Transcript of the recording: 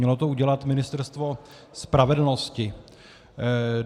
Mělo to udělat Ministerstvo spravedlnosti.